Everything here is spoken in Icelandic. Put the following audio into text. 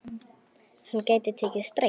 Hann gæti tekið strætó.